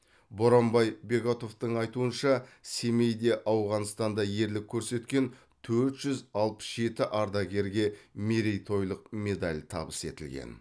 боранбай бегатовтың айтуынша семейде ауғанстанда ерлік көрсеткен төрт жүз алпыс жеті ардагерге мерейтойлық медаль табыс етілген